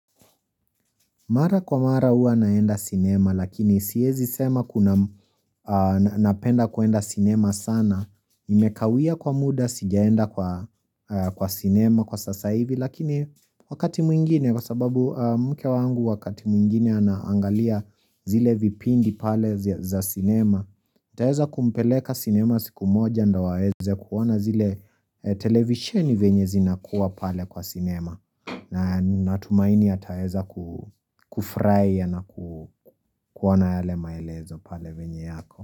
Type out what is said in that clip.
Mara kwa mara hua naenda cinema lakini sihezi sema kuna napenda kuenda cinema sana Imekawia kwa muda sijaenda kwa cinema kwa sasaivi lakini wakati mwingine kwasababu mke wangu wakati mwingine anaangalia zile vipindi pale za cinema taeza kumpeleka cinema siku moja ndo awaeze kuwana zile televisioni zenye zinakuwa pale kwa cinema natumaini ataeza kufraiya naku kuwona yale maelezo pale venye yako.